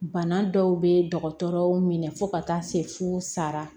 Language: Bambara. Bana dɔw bɛ dɔgɔtɔrɔ minɛ fo ka taa se fo sara